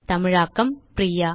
தமிழாக்கம் பிரியா